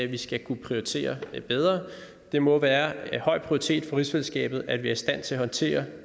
vi skal kunne prioritere bedre det må være af høj prioritet for rigsfællesskabet at være i stand til at håndtere